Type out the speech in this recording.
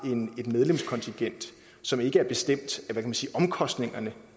et medlemskontingent som ikke er bestemt af hvad kan man sige omkostningerne